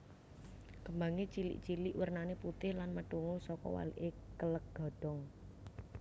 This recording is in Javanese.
Kembangé cilik cilik wernané putih lan methungul saka walike kèlèk godhong